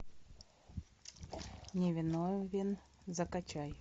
невиновен закачай